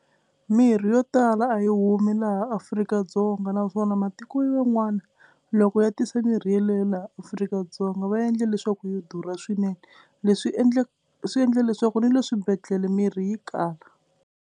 Mirhi yo tala a yi humi laha Afrika-Dzonga naswona matiko yan'wana loko ya tisa mirhi yeleyo laha Afrika-Dzonga va endle leswaku yo durha swinene. Leswi endle swi endle leswaku ni le swibedhlele mirhi yi kala.